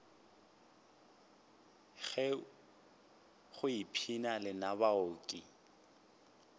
hei go ipshina lena baoki